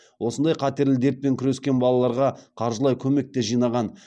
осындай қатерлі дертпен күрескен балаларға қаржылай көмек те жинаған